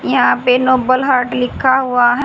यहां पे noble heart लिखा हुआ है।